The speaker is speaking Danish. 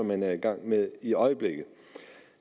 man er i gang med i øjeblikket